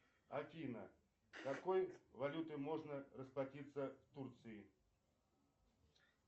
афина какой валютой можно расплатиться в турции